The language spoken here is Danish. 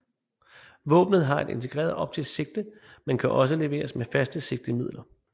Våbnet har et integreret optisk sigte men kan også leveres med faste sigtemidler